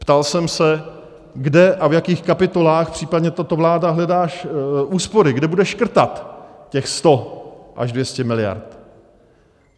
Ptal jsem se, kde a v jakých kapitolách případně tato vláda hledá úspory, kde bude škrtat těch 100 až 200 miliard.